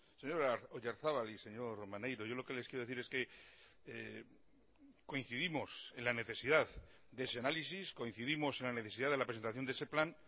señor oyarzabal y señor maneiro yo lo que les quiero decir es que coincidimos en la necesidad de ese análisis coincidimos en la necesidad de la presentación de ese plan